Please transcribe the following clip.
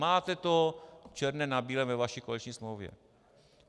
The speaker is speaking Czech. Máte to černé na bílém ve vaší koaliční smlouvě.